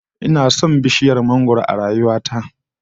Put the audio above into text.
Ina son bishiyar mangwaro a rayuwa ta